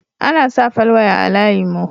Ana sa falwaya a layin mu